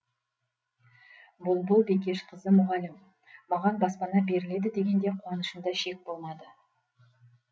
бұлбұл бекешқызы мұғалім маған баспана беріледі дегенде қуанышымда шек болмады